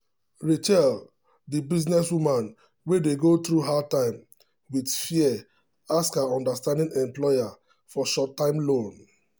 rachel the business woman wey dey go through hard time with fear ask her understanding employer for short time loan.